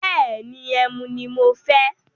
Bẹ́ẹ̀ni, ẹmu ni mo fẹ́.